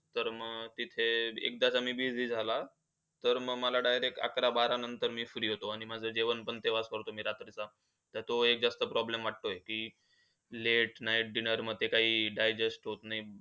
तर मग तिथे, एकदा का मी busy झाला. तर मग मला direct अकरा बारा नंतर मी free होतो. आणि माझा जेवण पण तेव्हाच करतो मी रात्रीचं. तर तोच एक जास्त problem वाटतोय, की late night dinner मध्ये जास्त काही digest होतं नाही.